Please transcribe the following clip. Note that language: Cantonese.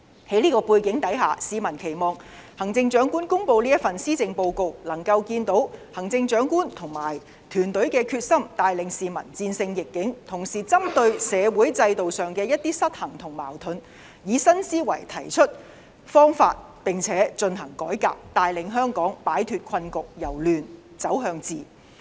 在這個背景下，市民期望行政長官公布的施政報告能夠看到行政長官和團隊的決心，帶領市民戰勝逆境；同時針對社會制度上的一些失衡和矛盾，以新思維提出方法並且進行改革，帶領香港擺脫困局，由亂走向治。